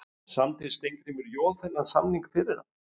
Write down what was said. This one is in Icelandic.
Samdi Steingrímur Joð þennan samning fyrir hann?